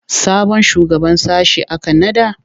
Sabon shugaban sashe aka naɗa?